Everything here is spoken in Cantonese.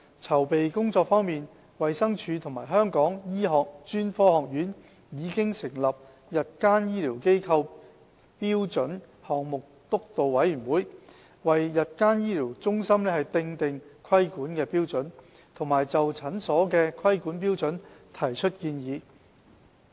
籌備工作方面，衞生署和香港醫學專科學院已成立日間醫療機構標準項目督導委員會，為日間醫療中心訂定規管標準和就診所的規管標準提出建議。